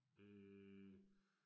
Øh